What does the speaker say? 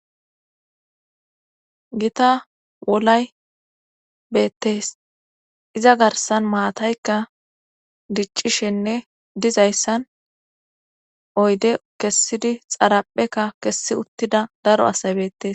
Gita wolay beettees iza garsan maataykka diccishenne dizayssan oyde kessidi xaraphekka kessi uttida daro asay beettes.